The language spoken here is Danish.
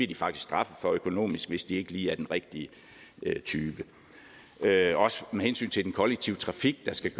de faktisk straffet for økonomisk hvis de ikke lige er den rigtige type også med hensyn til den kollektive trafik skal